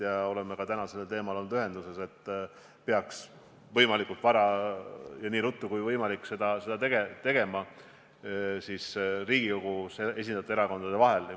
Me oleme ka täna sellel teemal olnud ühenduses ja leidnud, et seda peaks Riigikogus esindatud erakondade vahel tegema võimalikult vara ja nii ruttu kui võimalik.